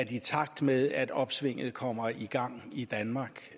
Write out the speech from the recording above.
i takt med at opsvinget kommer i gang i danmark